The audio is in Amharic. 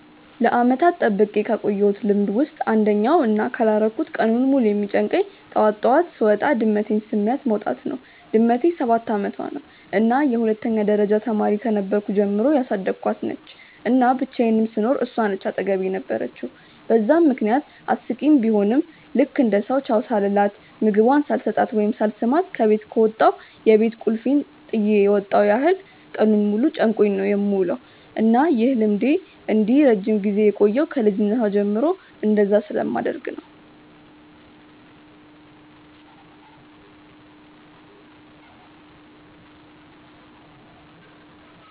ለዓመታት ጠብቄ ካቆየውት ልምድ ውስጥ አንደኛው እና ካላረኩት ቀኑን ሙሉ የሚጨንቀኝ ጠዋት ጠዋት ስወጣ ድመቴን ስሚያት መውጣት ነው። ድመቴ ሰባት አመቷ ነው እና የሁለተኛ ደረጃ ተማሪ ከነበርኩ ጀምሮ ያሳደኳት ነች፤ እና ብቻየንም ስኖር እሷ ነች አጠገቤ የነበረችው በዛም ምክንያት አስቂኝ ቡሆም ልክ እንደ ሰው ቻው ሳልላት፣ ምግቧን ሳልሰጣት ወይም ሳልስማት ከበት ከወጣው የቤት ቁልፌን ጥየ የመጣው ያህል ቀኑን ሙሉ ጨንቆኝ ነው የምውለው። እና ይህ ልምዴ እንዲህ ረጅም ጊዜ የቆየው ከ ልጅነቷ ጀምሮ እንደዛ ስለማደርግ ነው።